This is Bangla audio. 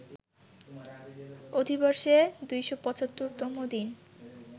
অধিবর্ষে ২৭৫ তম দিন